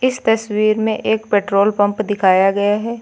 इस तस्वीर में एक पेट्रोल पंप दिखाया गया है।